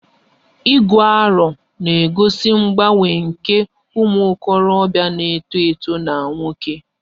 Igu aro 'na-egosi mgbanwe nke ụmụ okorobịa na-eto eto na nwoke